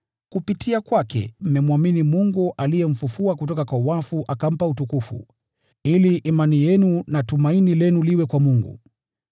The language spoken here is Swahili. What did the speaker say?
Kupitia kwake mmemwamini Mungu, aliyemfufua kutoka kwa wafu na akampa utukufu, ili imani yenu na tumaini lenu ziwe kwa Mungu.